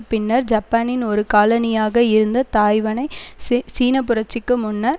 பின்னர் ஜப்பானின் ஒரு காலனியாக இருந்த தாய்வனை ச சீனப்புரட்சிக்கு முன்னர்